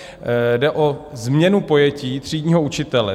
Jde o změnu pojetí třídního učitele.